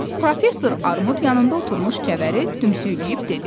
Professor Armud yanında oturmuş kəvəri dümsüyləyib dedi.